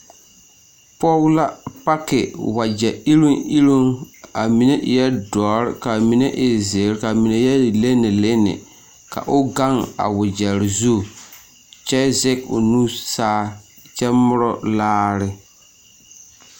Pɔge la paki wagyɛrɛ yireŋ yireŋ a mine e la doɔre kaa mine e ziire kyɛ e lenelene ka o gaŋ a wagyɛrɛ zu kyɛ sege o nu saa kyɛ moro laare .